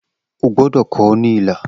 O gbọdọ kọ ọ ni ilà!